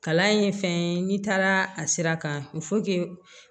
Kalan in ye fɛn ye n'i taara a sira kan